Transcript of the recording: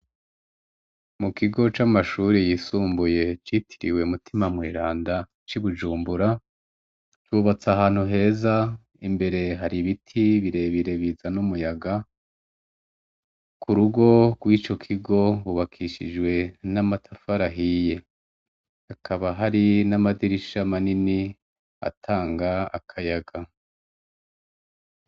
Mu kigo c' amashure y' isumbuye citiriwe Mutima Mweranda ci bujumbura, cubats'ahantu heza, imbere har' ibiti birebire bizan' umuyaga, k' urugo rwico kigo rwubakishijwe n' amatafar' ahiye hakaba hari n' amadirisha manin' atang' akayaga.